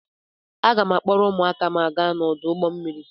Aga m a-akpọrọ ụmụaka m gaa n'ọdụ ụgbọ mmiri.